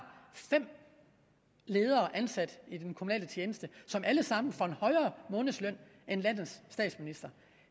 fem ledere ansat i den kommunale tjeneste som alle sammen får en højere månedsløn end landets statsminister